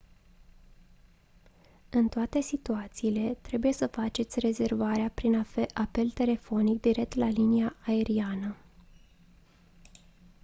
în toate situațiile trebuie să faceți rezervarea prin apel telefonic direct la linia aeriană